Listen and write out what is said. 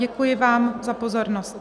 Děkuji vám za pozornost.